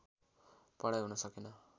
पढाइ हुन सकेन